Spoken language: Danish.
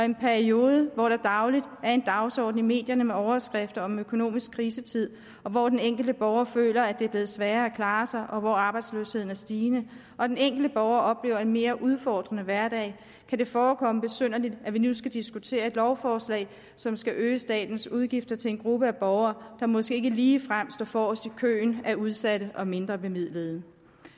en periode hvor der dagligt er en dagsorden i medierne med overskrifter om økonomisk krisetid hvor den enkelte borger føler at det er blevet sværere at klare sig og hvor arbejdsløsheden er stigende og den enkelte borger oplever en mere udfordrende hverdag kan det forekomme besynderligt at vi nu skal diskutere et lovforslag som skal øge statens udgifter til en gruppe af borgere der måske ikke ligefrem står forrest i køen af udsatte og mindrebemidlede